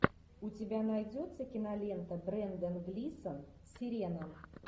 у тебя найдется кинолента брендан глисон сирена